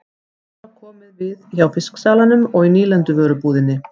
Svo var komið við hjá fisksalanum og í nýlenduvörubúðinni.